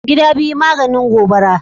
Gida biyu maganin gobara ne.